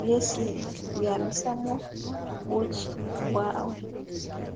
byesi byamisamu bukyi bwawe